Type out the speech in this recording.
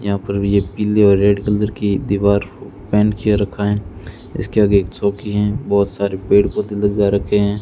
यहां पर भी ये पीले और रेड कलर की दीवार पेंट किया रखा है इसके आगे एक चौकी है बहोत सारे पेड़ पौधे लगा रखे हैं।